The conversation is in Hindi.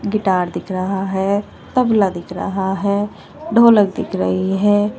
गिटार दिख रहा है तबला दिख रहा है ढोलक दिख रही है।